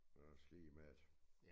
Det er også ligemeget